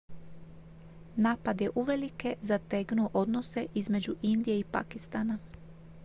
napad je uvelike zategnuo odnose između indije i pakistana